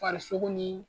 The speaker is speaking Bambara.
Farisogo ni